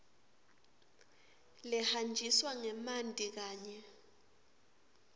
lehanjiswa ngemanti kanye